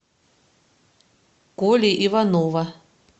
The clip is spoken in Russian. коли иванова